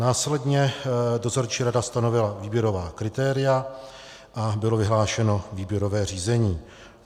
Následně dozorčí rada stanovila výběrová kritéria a bylo vyhlášeno výběrové řízení.